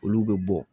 Olu bɛ bɔ